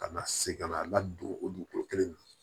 Ka na se ka na a ladon o dugukolo kelen in na